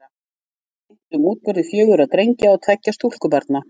Sögurnar segja frá meintum útburði fjögurra drengja og tveggja stúlkubarna.